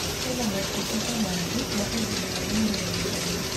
Kwĩna motungata maingĩ ma ũgima wa mwĩrĩ na gĩthomo